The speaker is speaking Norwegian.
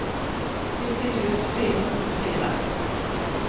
sytti tusen fire hundre og fire